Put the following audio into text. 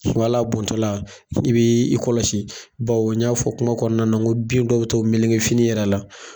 wa ali bɔntɔla i b'i kɔlɔsi bawo n y'a fɔ kuma kɔnɔna n ko bin dɔw bi to meleke fini yɛrɛ la.